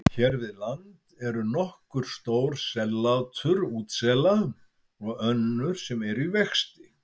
Hér við land eru nokkur stór sellátur útsela og önnur sem eru í vexti.